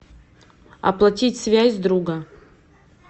оплатить связь друга